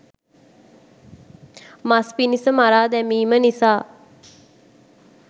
මස් පිණිස මරා දැමීම නිසා